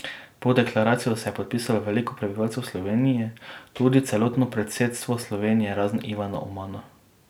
Pod deklaracijo se je podpisalo veliko prebivalcev Slovenije, tudi celotno predsedstvo Slovenije, razen Ivana Omana.